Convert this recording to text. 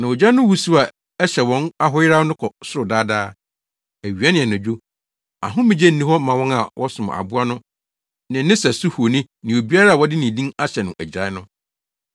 Na ogya no wusiw a ɛhyɛ wɔn ahoyeraw no kɔ soro daa daa. Awia ne anadwo, ahomegye nni hɔ ma wɔn a wɔsom aboa no ne ne sɛso honi ne obiara a wɔde ne din ahyɛ no agyirae no.”